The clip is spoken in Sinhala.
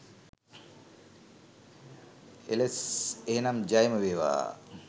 එලස්ස්ස් එහෙනම් ජයම වේවා!